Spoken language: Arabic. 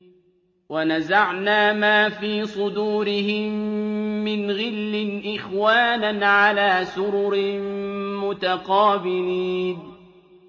وَنَزَعْنَا مَا فِي صُدُورِهِم مِّنْ غِلٍّ إِخْوَانًا عَلَىٰ سُرُرٍ مُّتَقَابِلِينَ